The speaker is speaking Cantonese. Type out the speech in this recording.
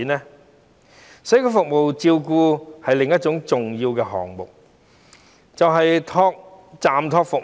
社會照顧服務的另一個重要項目，就是長者住宿暫託服務。